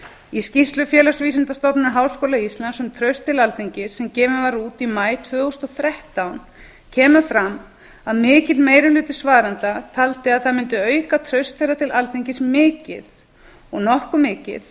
í skýrslu félagsvísindastofnunar háskóla íslands um traust til alþingis sem gefin var út í maí tvö þúsund og þrettán kemur fram að mikill meiri hluti svarenda taldi að það mundi auka traust þeirra til alþingis mikið og nokkuð mikið